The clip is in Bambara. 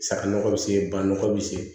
Saga nɔgɔ bɛ se ba nɔgɔ bɛ se